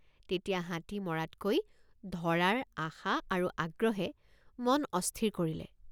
তেতিয়া হাতী মৰাতকৈ ধৰাৰ আশা আৰু আগ্ৰহে মন অস্থিৰ কৰিলে।